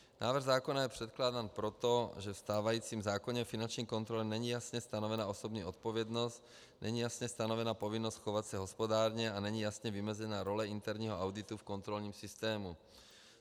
Návrh zákona je předkládán proto, že ve stávajícím zákoně o finanční kontrole není jasně stanovena osobní odpovědnost, není jasně stanovena povinnost chovat se hospodárně a není jasně vymezena role interního auditu v kontrolním systému.